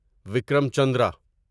Vikram Chandra